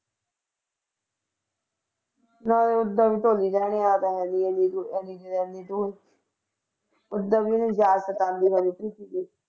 ਨਾਲੇ ਓਦਾਂ ਵੀ ਆ ਜਾਣਾ ਓਦਾਂ ਵੀ ਉਹਦੀ ਯਾਦ ਸਤਾਉਂਦੀ ਰਹਿੰਦੀ ਸੀਗੀ।